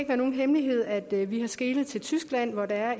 være nogen hemmelighed at vi har skelet til tyskland hvor der er